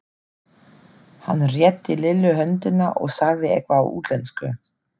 Hann rétti Lillu höndina og sagði eitthvað á útlensku.